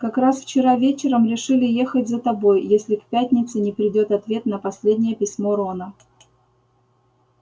как раз вчера вечером решили ехать за тобой если к пятнице не придёт ответ на последнее письмо рона